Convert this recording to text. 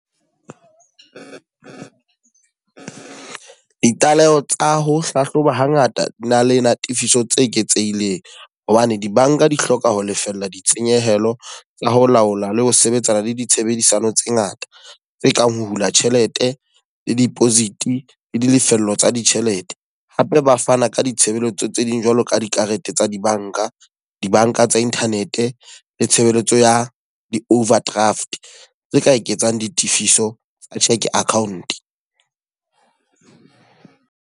Ditlaleho tsa ho hlahloba ha ngata di na le natifisang tse eketsehileng. Hobane dibanka di hloka ho lefella ditshenyehelo tsa ho laola le ho sebetsana le ditshebedisano tse ngata. Tse kang ho hula tjhelete, le deposit, le ditefello tsa ditjhelete. Hape ba fana ka ditshebeletso tse ding jwalo ka dikarete tsa dibanka, dibanka tsa internet, le tshebeletso ya di-overdraft tse ka eketsang ditifiso tsa cheque account.